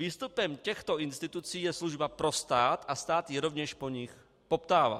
Výstupem těchto institucí je služba pro stát, a stát ji rovněž po nich poptává.